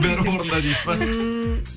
бәрі орнында дейсіз ба ммм